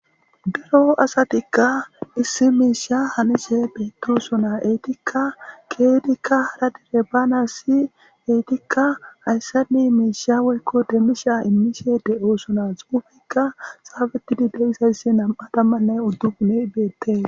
Dero asatikka issi miisha hanishe beettoosona eetikka keedikka aradire baana si eetikka hayssani miisha woykko demmisha immishe de oosona xuufikka saafeti dide isaysse nam7atammanne uddupune beettee.